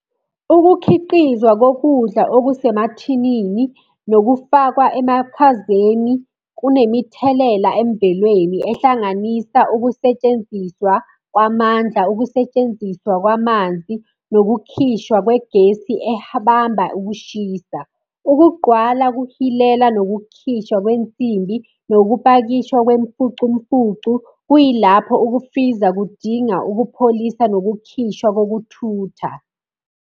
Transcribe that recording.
Ukukhiqizwa kokudla okusemathinini nokufakwa emakhazeni, kunemithelela emvelweni ehlanganisa ukusetshenziswa kwamandla, ukusetshenziswa kwamanzi, nokukhishwa kwegesi ebamba ukushisa. Ukugqwala kuhilela nokukhishwa kwensimbi, nokupakishwa kwemfucumfucu, kuyilapho ukufriza kudinga ukupholisa nokukhishwa kokuthutha.